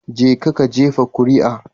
Jeka ka jefa kuri'a